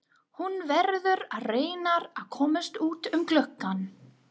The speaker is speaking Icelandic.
Hún verður að reyna að komast út um gluggann.